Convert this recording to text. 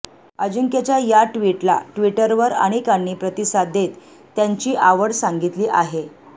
अजिंक्यच्या या ट्विटला ट्विटरवर अनेकांनी प्रतिसाद देत त्यांची आवड सांगितली आहे